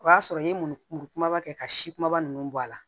O y'a sɔrɔ i ye muru kumaba kɛ ka si kumaba ninnu bɔ a la